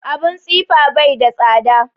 Abun tsifa bai da tsada